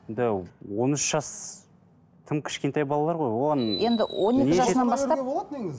енді он үш жас тым кішкентай балалар ғой оған